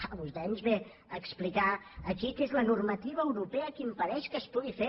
clar vostè ens ve a explicar aquí que és la normativa europea que impedeix que es pugui fer